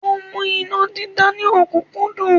Ó mú iná dídá ní ọ̀kúnkúndùn